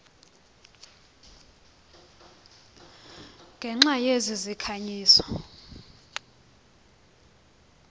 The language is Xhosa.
ngenxa yezi zikhanyiso